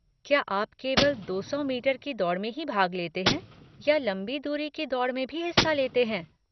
क्या आप केवल दो सौ मीटर की दौड़ में ही भाग लेते हैं या लंबी दूरी की दौड़ में भी हिस्सा लेते हैं?